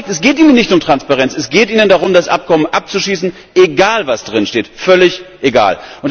Das zeigt Es geht ihnen nicht um Transparenz, es geht ihnen darum, das Abkommen abzuschießen, egal, was drinsteht, völlig egal.